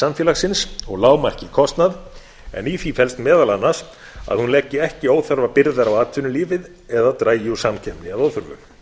samfélagsins og lágmarki kostnað en í því felst meðal annars að hún leggi ekki óþarfa byrðar á atvinnulífið eða dragi úr samkeppni að óþörfu